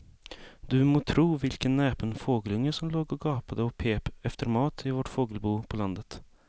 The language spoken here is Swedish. Du må tro vilken näpen fågelunge som låg och gapade och pep efter mat i vårt fågelbo på landet.